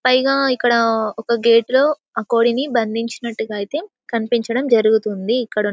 పైగా ఇక్కడ ఒక గేట్ లో ఆ కోడీని బంధిచినట్టుగా ఐతే కనిపిచడం జరుగుతుంది ఇక్కడ--